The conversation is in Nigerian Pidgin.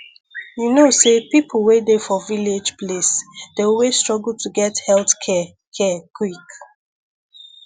you know say people wey dey for village place dey always struggle to get health care care quick